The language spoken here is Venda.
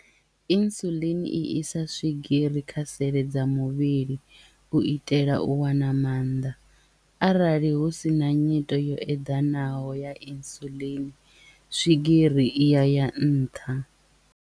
Insulin i isa swigiri kha sele dza muvhili u itela u wana mannḓa arali hu sina nyito yo eḓanaho ya insulin swigiri iya ya nṱha.